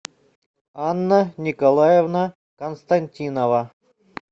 анна николаевна константинова